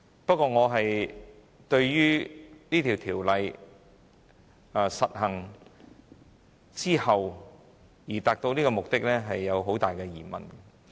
不過，我對於《條例草案》落實後的成效存有很大疑問。